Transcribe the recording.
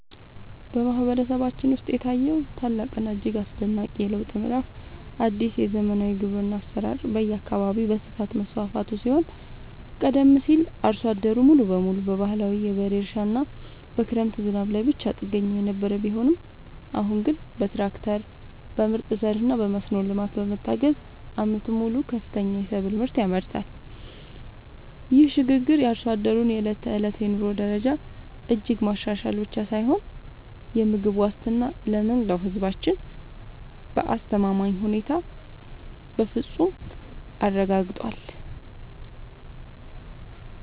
በማህበረሰባችን ውስጥ የታየው ታላቅና እጅግ አስደናቂ የለውጥ ምዕራፍ አዲስ የዘመናዊ ግብርና አሰራር በየአካባቢው በስፋት መስፋፋቱ ሲሆን ቀደም ሲል አርሶ አደሩ ሙሉ በሙሉ በባህላዊ የበሬ እርሻና በክረምት ዝናብ ላይ ብቻ ጥገኛ የነበረ ቢሆንም አሁን ግን በትራክተር፣ በምርጥ ዘርና በመስኖ ልማት በመታገዝ ዓመቱን ሙሉ ከፍተኛ የሰብል ምርት ያመርታል። ይህ ሽግግር የአርሶ አደሩን የዕለት ተዕለት የኑሮ ደረጃ እጅግ ማሻሻል ብቻ ሳይሆን የምግብ ዋስትናን ለመላው ህዝባችን በአስተማማኝ ሁኔታ በፍፁም አረጋግጧል።